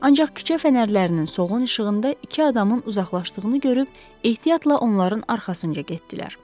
Ancaq küçə fənərlərinin soyuq işığında iki adamın uzaqlaşdığını görüb ehtiyatla onların arxasınca getdilər.